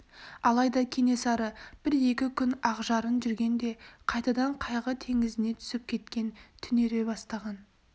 алайда кенесары бір-екі күн ақжарын жүрген де қайтадан қайғы теңізіне түсіп кеткен түнере бастаған